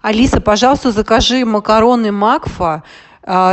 алиса пожалуйста закажи макароны макфа